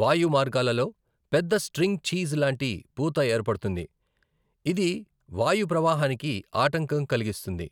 వాయుమార్గాలలో పెద్ద string cheese లాంటి పూత ఏర్పడుతుంది, ఇది వాయుప్రవాహానికి ఆటంకం కలిగిస్తుంది.